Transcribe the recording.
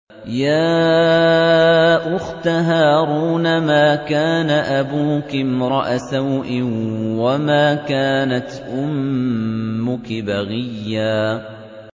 يَا أُخْتَ هَارُونَ مَا كَانَ أَبُوكِ امْرَأَ سَوْءٍ وَمَا كَانَتْ أُمُّكِ بَغِيًّا